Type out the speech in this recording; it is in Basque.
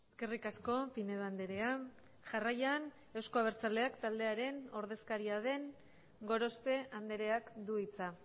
eskerrik asko pinedo andrea jarraian eusko abertzaleak taldearen ordezkaria den gorospe andreak du hitza